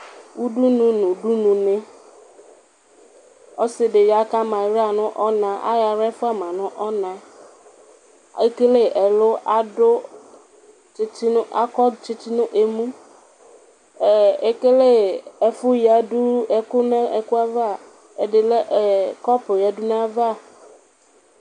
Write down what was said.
uɖunu nu uɖununi ɔsidi ya, kua mala yanɔnaTa yɔ alɛ fua ma nɔna, le kele ɛlu na kɔ tsitsi némuEkele ɛfu ya ɛku edi kɔpuè ya du na va